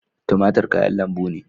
Tumatur kayan lambu ne.